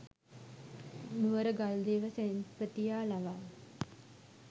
නුවරගල් දේව සෙන්පතියා ලවා